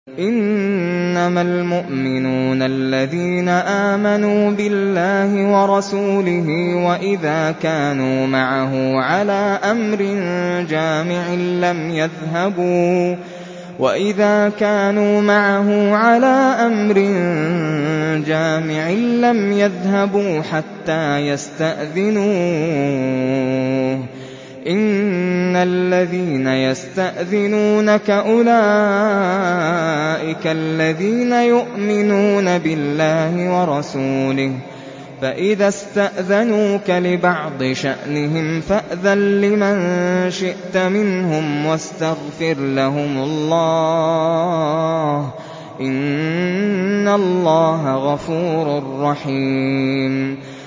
إِنَّمَا الْمُؤْمِنُونَ الَّذِينَ آمَنُوا بِاللَّهِ وَرَسُولِهِ وَإِذَا كَانُوا مَعَهُ عَلَىٰ أَمْرٍ جَامِعٍ لَّمْ يَذْهَبُوا حَتَّىٰ يَسْتَأْذِنُوهُ ۚ إِنَّ الَّذِينَ يَسْتَأْذِنُونَكَ أُولَٰئِكَ الَّذِينَ يُؤْمِنُونَ بِاللَّهِ وَرَسُولِهِ ۚ فَإِذَا اسْتَأْذَنُوكَ لِبَعْضِ شَأْنِهِمْ فَأْذَن لِّمَن شِئْتَ مِنْهُمْ وَاسْتَغْفِرْ لَهُمُ اللَّهَ ۚ إِنَّ اللَّهَ غَفُورٌ رَّحِيمٌ